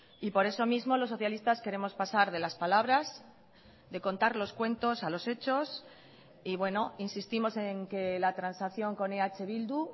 y por eso mismo los socialistas queremos pasar de las palabras de contar los cuentos a los hechos y bueno insistimos en que la transacción con eh bildu